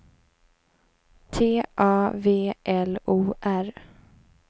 T A V L O R